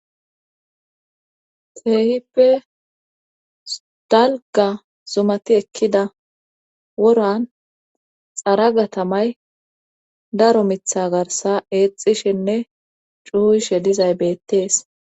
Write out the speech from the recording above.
teehippe sdalga zumati ekkida woran xaragatamay daro mitha garsa eexishinne cuhuyshe dizay bettees